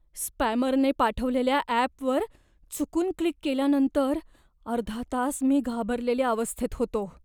स्पॅमरने पाठवलेल्या ॲपवर चुकून क्लिक केल्यानंतर अर्धा तास मी घाबरलेल्या अवस्थेत होतो.